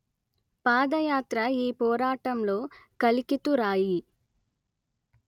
పాదయాత్ర ఈ పోరాటంలో కలికితురాయి